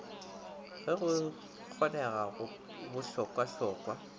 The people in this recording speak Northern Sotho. ge go kgonega go bohlokwahlokwa